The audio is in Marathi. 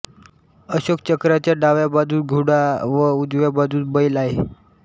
अशोकचक्राच्या डाव्या बाजूस घोडा व उजव्या बाजूस बैल आहे